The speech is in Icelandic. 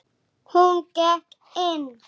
Hún hafði bara sagt satt.